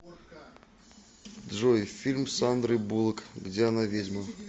джой фильм с сандрой буллок где она ведьма